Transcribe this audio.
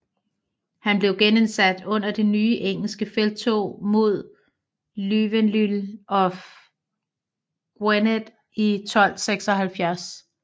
Han blev genindsat under det nye engelske felttog mod Llywelyn of Gwynedd i 1276